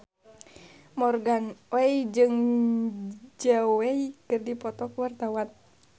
Morgan Oey jeung Zhao Wei keur dipoto ku wartawan